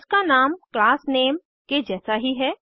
इसका नाम क्लास नामे के जैसा ही है